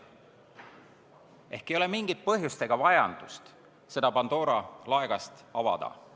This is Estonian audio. Ehk ei ole mingit põhjust ega vajadust seda Pandora laegast avada.